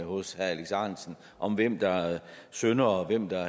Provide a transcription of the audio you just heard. hos herre alex ahrendtsen om hvem der er syndere og hvem der